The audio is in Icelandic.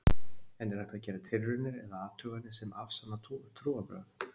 En er hægt að gera tilraunir eða athuganir sem afsanna trúarbrögð?